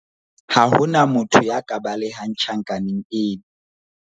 ha ho na motho ya ka balehang tjhankaneng ena